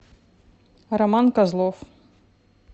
роман козлов